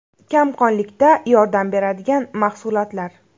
Kamqonlikda yordam beradigan mahsulotlar.